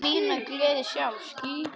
Ég á mína gleði sjálf.